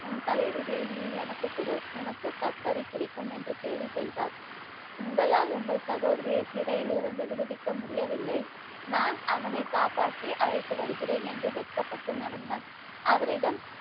உன் தலைவிதியை நீ எனக்கு கொடு, உனக்கு கக்கரி கிடைக்கும் என்று கேலி செய்தார். உங்களால் உங்கள் சகோதரியை சிறையிலிருந்து விடுவிக்க முடியவில்லை. நான் அவனை காப்பாற்றி அழைத்து வருகிறேன் என்று வெட்கப்பட்டு நடந்தான். அவரிடம்